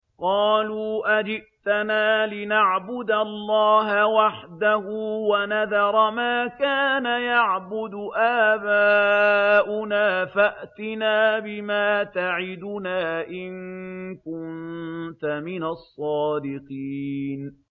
قَالُوا أَجِئْتَنَا لِنَعْبُدَ اللَّهَ وَحْدَهُ وَنَذَرَ مَا كَانَ يَعْبُدُ آبَاؤُنَا ۖ فَأْتِنَا بِمَا تَعِدُنَا إِن كُنتَ مِنَ الصَّادِقِينَ